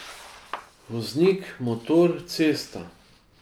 Voznik, motor, cesta.